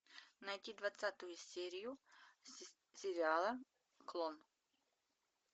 найти двадцатую серию сериала клон